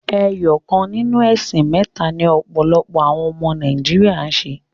Ẹyọ kan ninu ẹ̀sìn mẹ́ta ni ọ̀pọ̀lọpọ̀ àwọn ọmọ Nàíjíríà ń ṣe.